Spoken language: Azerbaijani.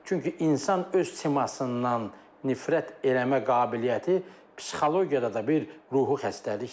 Çünki insan öz simasından nifrət eləmə qabiliyyəti psixologiyada da bir ruhi xəstəlikdir.